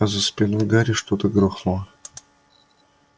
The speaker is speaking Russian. за спиной гарри что-то грохнуло